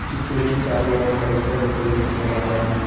चित्र के चारों ओर कई सारे पेड़ नजर आ रहा है।